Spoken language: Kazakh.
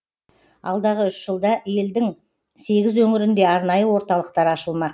алдағы үш жылда елдің сегіз өңірінде арнайы орталықтар ашылмақ